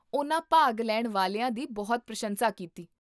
ਉਨ੍ਹਾਂ ਭਾਗ ਲੈਣ ਵਾਲਿਆਂ ਦੀ ਬਹੁਤ ਪ੍ਰਸ਼ੰਸਾ ਕੀਤੀ